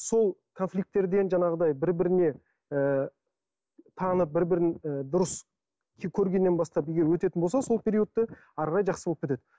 сол конфликтілерден жаңағыдай бір біріне ы танып бір бірін ы дұрыс көргеннен бастап егер өтетін болса сол периодты әрі қарай жақсы болып кетеді